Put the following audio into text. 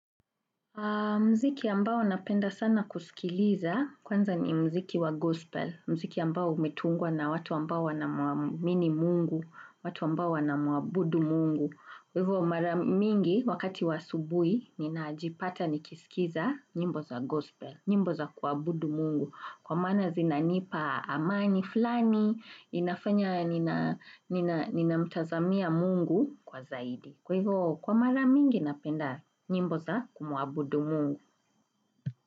Muziki ambao napenda sana kusikiliza kwanza ni muziki wa gospel. Muziki ambao umetungwa na watu ambao wanamuamini Mungu, watu ambao wanamuabudu Mungu. Kwa hivyo maramingi wakati wa asubuhi ninajipata nikisikiza nyimbo za gospel, nyimbo za kuabudu Mungu. Kwa maana zinanipa amani, fulani, inafanya nina mtazamia Mungu kwa zaidi. Kwa hivyo kwa maramingi napenda nyimbo za kumuabudu Mungu.